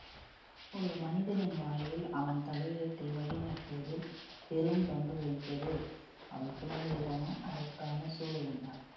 ஒரு மனிதனின் வாழ்வில் அவன் தலையெழுத்தை வழிநடத்துவதில் பெரும் பங்கு வகிப்பது அவன் பிறந்த இடமும் அதற்கான சூழலும் தான்